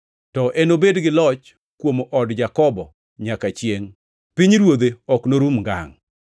To enobed gi loch kuom od Jakobo nyaka chiengʼ, pinyruodhe ok norum ngangʼ.”